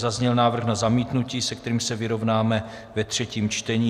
Zazněl návrh na zamítnutí, se kterým se vyrovnáme ve třetím čtení.